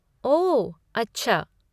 ओह, अच्छा।